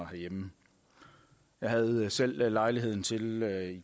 herhjemme jeg havde selv lejlighed til at